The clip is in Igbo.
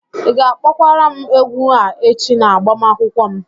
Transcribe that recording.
Ị ga-akpọkwara m egwu a echi na agbamakwụkwọ m?